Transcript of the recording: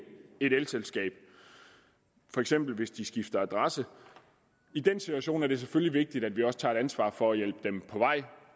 et elselskab for eksempel hvis de skifter adresse i den situation er det selvfølgelig vigtigt at vi også tager et ansvar for at hjælpe dem på vej